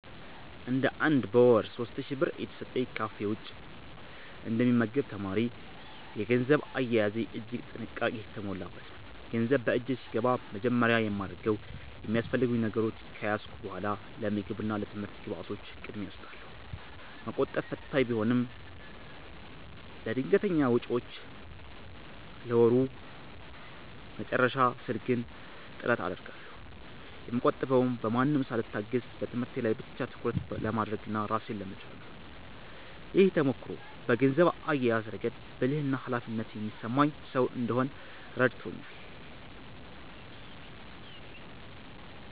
እንደ አንድ በወር 3,000 ብር እየተሰጠኝ ከካፌ ውጭ እንደ ሚመገብ ተማሪ፤ የገንዘብ አያያዜ እጅግ ጥንቃቄ የተሞላበት ነው። ገንዘብ በእጄ ሲገባ በመጀመሪያ የማደርገው የሚያስፈልጉኝ ነገሮች ከያዝኩ በኃላ ለምግብ እና ለትምህርት ግብዓቶች ቅድሚያ እሰጣለሁ። መቆጠብ ፈታኝ ቢሆንም፤ ለድንገተኛ ወጪዎችና ለወሩ መጨረሻ ስል ግን ጥረት አደርጋለሁ። የምቆጥበውም በማንም ሳልታገዝ በትምህርቴ ላይ ብቻ ትኩረት ለማድረግና ራሴን ለመቻል ነው። ይህ ተሞክሮ በገንዘብ አያያዝ ረገድ ብልህና ኃላፊነት የሚሰማኝ ሰው እንድሆን ረድቶኛል።